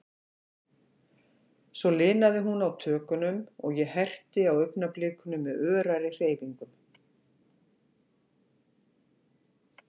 Svo linaði hún á tökunum, og ég herti á augnablikunum með örari hreyfingum.